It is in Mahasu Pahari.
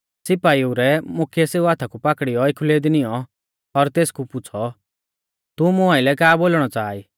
सिपाइऊ रै मुख्यै सेऊ हाथा कु पाकड़ीयौ एखुलै दी नियौं और तेसकु पुछ़ौ तू मुं आइलै का बोलणौ च़ाहा ई